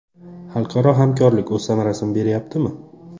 Xalqaro hamkorlik o‘z samarasini berayaptimi?